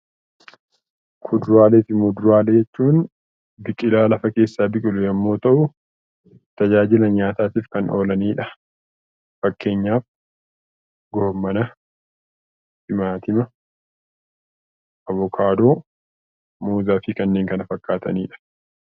Kuduraalee fi muduraalee jechuun biqiloota lafa keessaa biqilu yommuu ta'u, tajaajila nyaataaf kan oolanidha. Fakkeenyaaf raafuu, timaatima, avokaadoo, muuzii fi kanneen kana fakkaatanidha.